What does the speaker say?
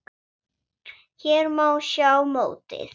Hér má sjá mótið.